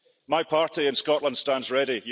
My party and Scotland stands ready.